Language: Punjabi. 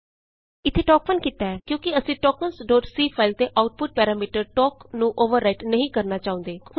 ਇਥੇ ਅਸੀਂ ਟੋਕ1 ਕੀਤਾ ਹੈ ਕਿਉਂਕਿ ਅਸੀਂ tokensਸੀ ਫਾਈਲ ਦੇ ਆਉਟਪੁਟ ਪੈਰਾਮੀਟਰ ਟੋਕ ਨੂੰ ਅੋਵਰ ਰਾਈਟ ਨਹੀਂ ਕਰਨਾ ਚਾਹੁੰਦੇ